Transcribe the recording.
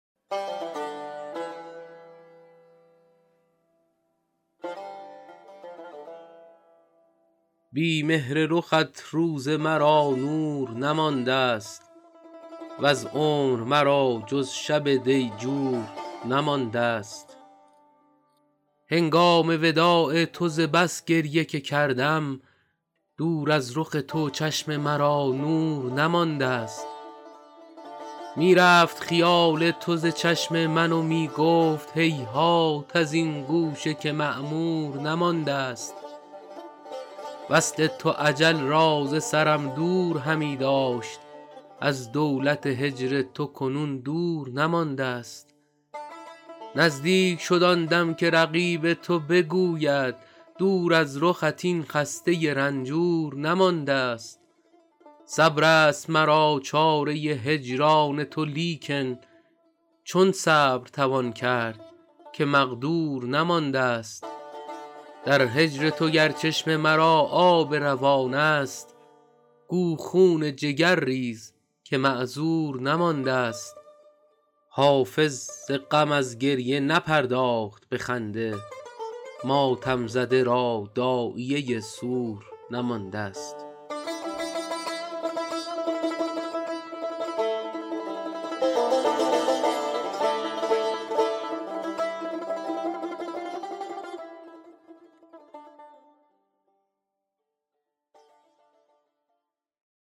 بی مهر رخت روز مرا نور نماندست وز عمر مرا جز شب دیجور نماندست هنگام وداع تو ز بس گریه که کردم دور از رخ تو چشم مرا نور نماندست می رفت خیال تو ز چشم من و می گفت هیهات از این گوشه که معمور نماندست وصل تو اجل را ز سرم دور همی داشت از دولت هجر تو کنون دور نماندست نزدیک شد آن دم که رقیب تو بگوید دور از رخت این خسته رنجور نماندست صبر است مرا چاره هجران تو لیکن چون صبر توان کرد که مقدور نماندست در هجر تو گر چشم مرا آب روان است گو خون جگر ریز که معذور نماندست حافظ ز غم از گریه نپرداخت به خنده ماتم زده را داعیه سور نماندست